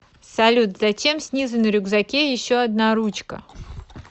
салют зачем снизу на рюкзаке еще одна ручка